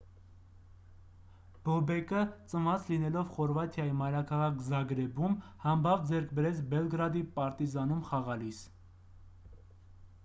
բոբեկը ծնված լինելով խորվաթիայի մայրաքաղաք զագրեբում համբավ ձեռք բերեց բելգրադի «պարտիզան»-ում խաղալիս: